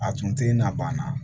A tun tɛ na ban na